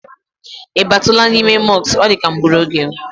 I batula n'ime mosk?